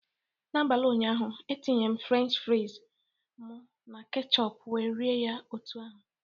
N'abalị ụnyaahụ, etinyere m fries french m na ketchup wee rie ya otu ahụ